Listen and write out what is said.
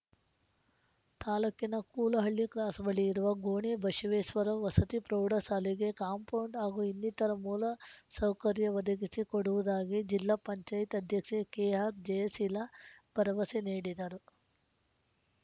ತಾಲೂಕಿನ ಕೂಲಹಳ್ಳಿ ಕ್ರಾಸ್‌ ಬಳಿ ಇರುವ ಗೋಣಿಬಶವೇಸ್ವರ ವಸತಿ ಪ್ರೌಢ ಶಾಲೆಗೆ ಕಾಂಪೌಂಡು ಹಾಗೂ ಇನ್ನೀತರ ಮೂಲ ಸೌಕರ್ಯ ಒದಗಿಸಿ ಕೊಡುವುದಾಗಿ ಜಿಲ್ಲಾ ಪಂಚಾಯ್ತಿ ಅಧ್ಯಕ್ಷೆ ಕೆಆರ್‌ ಜಯಶೀಲ ಭರವಸೆ ನೀಡಿದರು